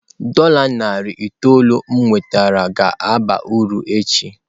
Dola narị itoolu m nwetara ga-aba uru echi.